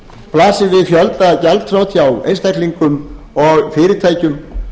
blasir við fjöldagjaldþrot hjá einstaklingum og fyrirtækjum